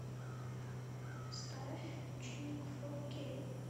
поставь ученик фор кей